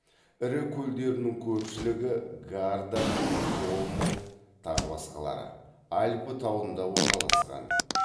ірі көлдерінің көпшілігі альпі тауында орналасқан